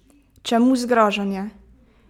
Čemu zgražanje?